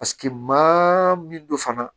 Paseke maa min don fana